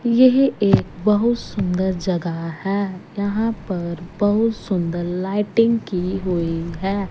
यह एक बहुत सुंदर जगह है यहां पर बहुत सुंदर लाइटिंग की हुई है।